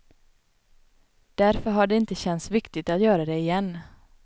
Därför har det inte känts viktigt att göra det igen.